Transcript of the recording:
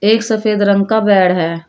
एक सफेद रंग का बेड है।